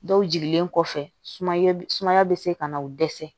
Dɔw jigilen kɔfɛ sumaya bɛ sumaya bɛ se ka na o dɛsɛ